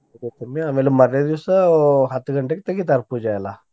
ಉಡಿ ತುಂಬಿ ಆಮ್ಯಾಲ ಮಾರ್ನೆ ದಿವ್ಸ ಹತ್ತ್ ಗಂಟೆಗ್ ತೆಗಿತಾರ್ ಪೂಜೆ ಎಲ್ಲಾ.